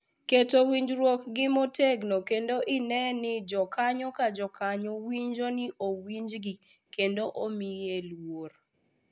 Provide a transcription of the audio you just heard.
Keto winjruog-gi motegno kendo ine ni jokanyo ka jokanyo winjo ni owinjgi kendo omiye luor.